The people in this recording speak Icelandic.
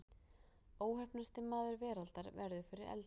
Óheppnasti maður veraldar verður fyrir eldingu